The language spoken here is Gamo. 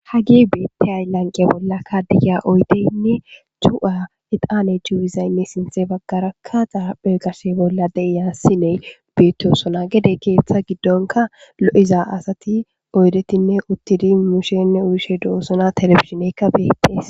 hagi beetti aylanqe bolla kadiya oyteynne cu7a eqaane juu7izaynne sintxe baggarakkaxaa pheqase bolla deiyassine beettosona gede keeththa giddonka lo7iza asati oydetinne uttidi mushenne uyishe duosona telefizineykka beettes.